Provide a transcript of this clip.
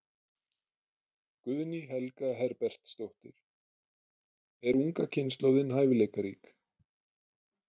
Guðný Helga Herbertsdóttir: Er unga kynslóðin hæfileikarík?